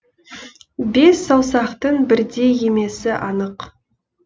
бес саусақтың бірдей емесі анық